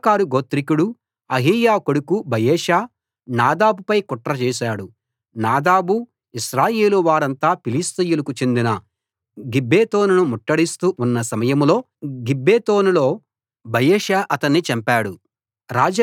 ఇశ్శాఖారు గోత్రీకుడూ అహీయా కొడుకు బయెషా నాదాబుపై కుట్ర చేశాడు నాదాబు ఇశ్రాయేలు వారంతా ఫిలిష్తీయులకు చెందిన గిబ్బెతోనును ముట్టడిస్తూ ఉన్న సమయంలో గిబ్బెతోనులో బయెషా అతన్ని చంపాడు